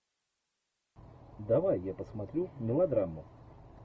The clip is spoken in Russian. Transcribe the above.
давай я посмотрю мелодраму